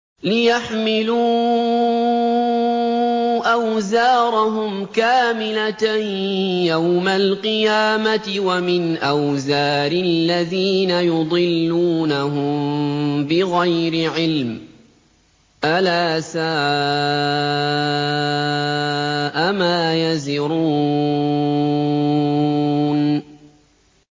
لِيَحْمِلُوا أَوْزَارَهُمْ كَامِلَةً يَوْمَ الْقِيَامَةِ ۙ وَمِنْ أَوْزَارِ الَّذِينَ يُضِلُّونَهُم بِغَيْرِ عِلْمٍ ۗ أَلَا سَاءَ مَا يَزِرُونَ